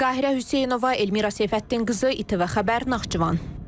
Qahirə Hüseynova, Elmira Seyfəddinqızı, İTV Xəbər, Naxçıvan.